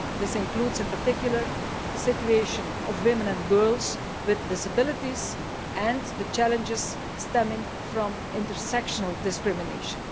This includes, in particular, the situation of women and girls with disabilities and the challenges stemming from inter sectional discrimination.